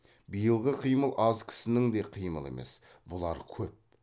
биылғы қимыл аз кісінің де қимылы емес бұлар көп